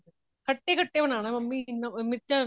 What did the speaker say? ਖੱਟੇ ਖੱਟੇ ਬਨਾਣਾ ਮੰਮੀ ਮੀਰਚਾ